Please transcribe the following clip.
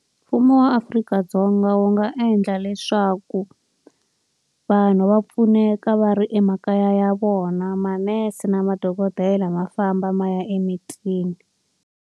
mlmfumo wa Afrika-Dzonga wu nga endla leswaku vanhu va pfuneka va ri emakaya ya vona. Manese na madokodela va famba va ya emitini.